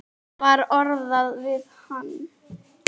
Þetta var orðað við hann.